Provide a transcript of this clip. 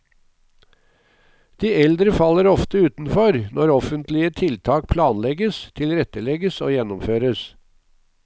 De eldre faller ofte utenfor når offentlige tiltak planlegges, tilrettelegges og gjennomføres.